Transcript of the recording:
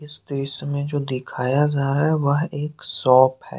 इस दृश्य में जो दिखाया जा रहा है वह एक सोप है।